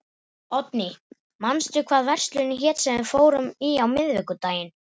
Oddný, manstu hvað verslunin hét sem við fórum í á miðvikudaginn?